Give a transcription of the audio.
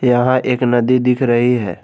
यहां एक नदी दिख रही है।